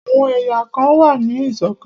Àwọn èyàn kan wà ní ìṣọ̀kan.